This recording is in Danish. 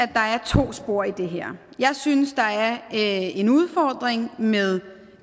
der er to spor i det her jeg synes der er en udfordring med